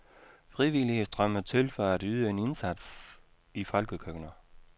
Frivillige strømmer til for at yde en indsats i folkekøkkener.